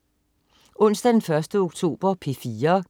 Onsdag den 1. oktober - P4: